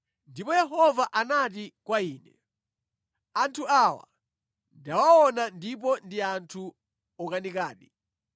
Ndipo Yehova anati kwa ine, “Anthu awa ndawaona ndipo ndi anthu okanikadi!